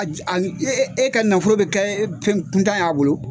E ka nafolo bi kɛ fɛnkuntan ye a bolo